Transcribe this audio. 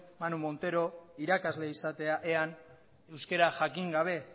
manu montero irakasle izatea ean euskera jakin gabe